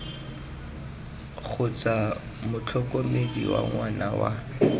kgotsa motlhokomedi wa ngwana wa